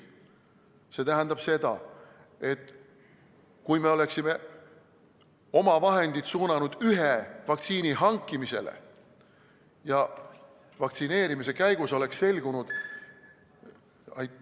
See tähendab seda, et kui me oleksime oma vahendid suunanud ühe vaktsiini hankimisele ja vaktsineerimise käigus oleks selgunud ...